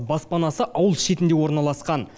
баспанасы ауыл шетінде орналасқан